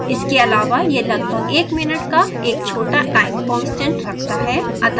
इसके आलावा यह लगभग 1 मिनट का एक छोटा time constant रखता है